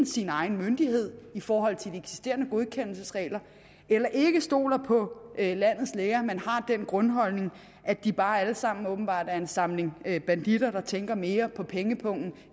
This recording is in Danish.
sin egen myndighed i forhold til de eksisterende godkendelsesregler eller ikke stoler på landets læger men har den grundholdning at de bare alle sammen åbenbart er en samling banditter der tænker mere på pengepungen